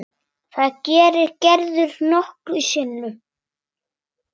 Það gerir Gerður nokkrum sinnum.